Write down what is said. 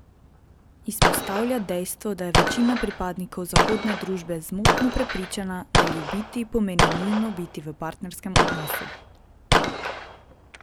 Izpostavlja dejstvo, da je večina pripadnikov zahodne družbe zmotno prepričana, da ljubiti pomeni nujno biti v partnerskem odnosu.